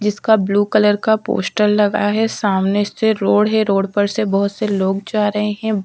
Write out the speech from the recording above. जिसका blue colour का poster लगा हुआ है सामने से रोड है रोड पे से बोहोत सारे लोग जा रहे है।